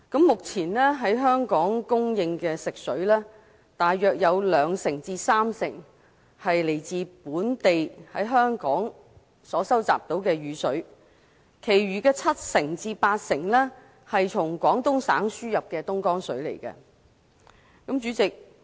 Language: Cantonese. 目前供應本港的食水，大約兩至三成來自本地收集的雨水，其餘七至八成則是從廣東省輸入的東江水。